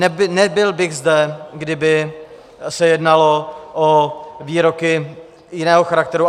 Nebyl bych zde, kdyby se jednalo o výroky jiného charakteru.